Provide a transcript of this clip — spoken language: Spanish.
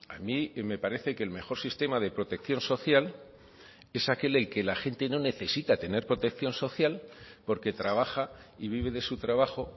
a mí me parece que el mejor sistema de protección social es aquel en el que la gente no necesita tener protección social porque trabaja y vive de su trabajo